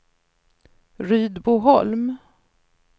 Rydboholm